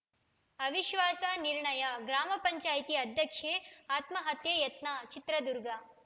ಅವಿಶ್ವಾಸ ನಿರ್ಣಯ ಗ್ರಾಮ ಪಂಚಾಯತೆ ಅಧ್ಯಕ್ಷೆ ಆತ್ಮಹತ್ಯೆ ಯತ್ನ ಚಿತ್ರದುರ್ಗ